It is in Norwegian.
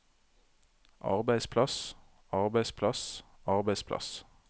arbeidsplass arbeidsplass arbeidsplass